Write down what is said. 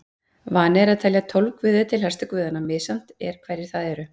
Vani er að telja tólf guði til helstu guðanna, misjafnt er hverjir það eru.